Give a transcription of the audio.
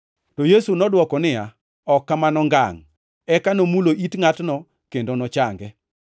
To Yesu nodwoko niya. “Ok kamano ngangʼ!” Eka nomulo it ngʼatno kendo nochange.